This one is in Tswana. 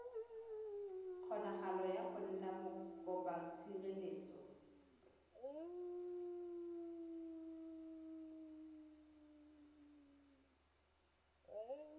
kgonagalo ya go nna mokopatshireletso